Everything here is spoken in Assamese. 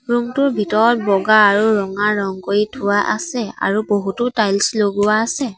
ৰূম টোৰ ভিতৰত বগা আৰু ৰঙা ৰং কৰি থোৱা আছে আৰু বহুতো টাইলচ লগোৱা আছে।